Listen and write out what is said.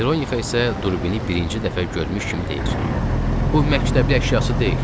Mironixa isə durbini birinci dəfə görmüş kimi deyir: Bu məktəbli əşyası deyil.